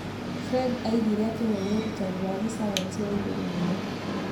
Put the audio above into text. Friede oigire ati ũyũ nĩ ũrutani wa gĩcayanici wa igũrũ mũno.